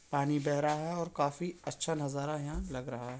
पानी बह रहा है और काफी अच्छा नजारा यहाँ लग रहा है।